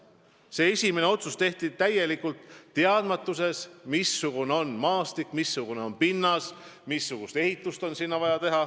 Kunagine esimene otsus tehti täielikus teadmatuses, missugune on maastik, missugune on pinnas, missugust ehitust seal on vaja.